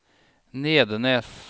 Nedenes